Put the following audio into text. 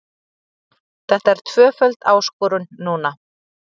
Þetta er tvöföld áskorun núna.